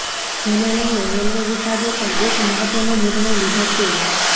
જેને લઈને રેલવે વિભાગે પણ એક મહત્વનો નિર્ણય લીધો ચે